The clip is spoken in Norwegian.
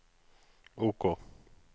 OK